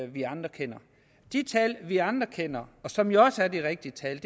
vi andre kender de tal vi andre kender og som jo også er de rigtige tal